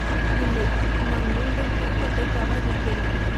இல்லை, நான் மீண்டும் திருப்பத்தை தவறவிட்டேன்!